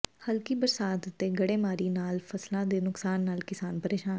ਹਲਕੀ ਬਰਸਾਤ ਤੇ ਗੜੇਮਾਰੀ ਨਾਲ ਫ਼ਸਲਾਂ ਦੇ ਨੁਕਸਾਨ ਨਾਲ ਕਿਸਾਨ ਪ੍ਰੇਸ਼ਾਨ